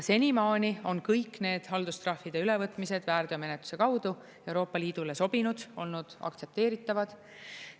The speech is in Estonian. Senimaani on kõik need haldustrahvide ülevõtmised väärteomenetluse kaudu Euroopa Liidule sobinud, olnud aktsepteeritavad.